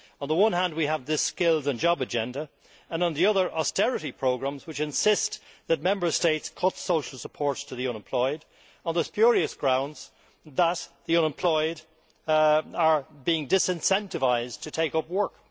On the one hand we have the skills and jobs agenda and on the other, austerity programmes which insist that Member States cut social support to the unemployed on the spurious grounds that the unemployed are being disincentivised to take up work.